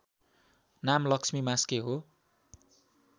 नाम लक्ष्मी मास्के हो